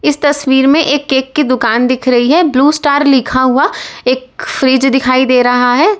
इस तस्वीर में एक केक की दुकान दिख रही है ब्लू स्टार लिखा हुआ एक फ्रिज दिखाई दे रहा है।